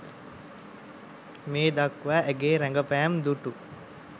මේ දක්වා ඇගේ රඟපෑම් දුටු